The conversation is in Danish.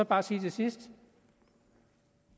bare sige til sidst at